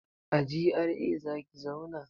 A GRA zaki zauna?